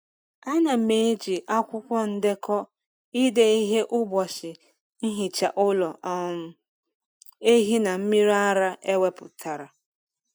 A na m eji akwụkwọ ndekọ ide ihe ụbọchị nhicha ụlọ um ehi na mmiri ara ewepụtara.